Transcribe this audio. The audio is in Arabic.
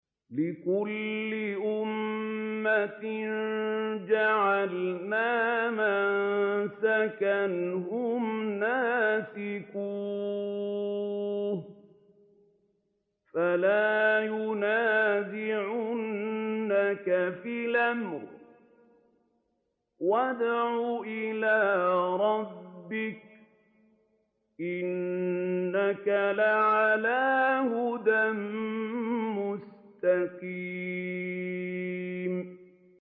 لِّكُلِّ أُمَّةٍ جَعَلْنَا مَنسَكًا هُمْ نَاسِكُوهُ ۖ فَلَا يُنَازِعُنَّكَ فِي الْأَمْرِ ۚ وَادْعُ إِلَىٰ رَبِّكَ ۖ إِنَّكَ لَعَلَىٰ هُدًى مُّسْتَقِيمٍ